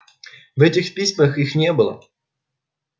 в этих письмах её не было